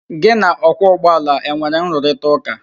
Gị na ọkwọ ụgbọala e nwere nrụrịtaụ́ká?